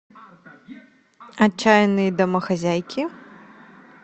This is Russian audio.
отчаянные домохозяйки